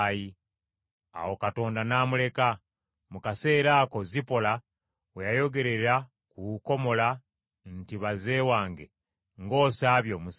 Awo Mukama n’amuleka. Mu kaseera ako Zipola we yayogerera ku kukomola nti, “Baze wange ng’osaabye omusaayi!”